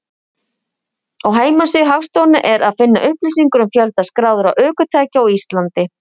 Á heimasíðu Hagstofunnar er að finna upplýsingar um fjölda skráðra ökutækja á Íslandi.